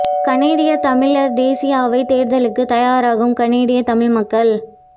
கனடியத் தமிழர் தேசிய அவைத் தேர்தலுக்கு தயாராகும் கனடியத் தமிழ் மக்கள்